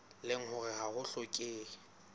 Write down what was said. leng hore ha ho hlokehe